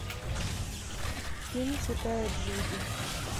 фильм святая джуди